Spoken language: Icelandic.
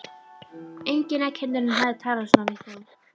Enginn af kennurunum hafði talað svona við þá.